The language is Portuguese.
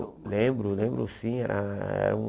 Lembro, lembro sim. Ah